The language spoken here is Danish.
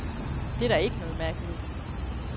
Det er der ikke noget mærkeligt i.